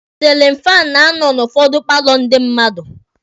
Silin fan na-anọ n'ụfọdụ paalọ ndị mmadụ.